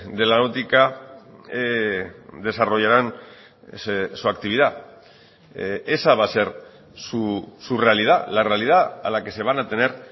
de la náutica desarrollarán su actividad esa va a ser su realidad la realidad a la que se van a tener